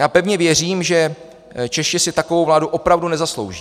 Já pevně věřím, že Češi si takovou vládu opravdu nezaslouží.